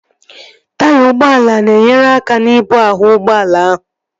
Taya ụgbọala na-enyere aka n'ibu ahụ ụgbọala ahụ